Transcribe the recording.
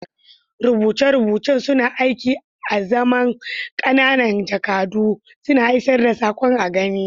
Rubuce-rubucen suna aiki azaman ƙananan jakadu, suna isar da saƙon a gani.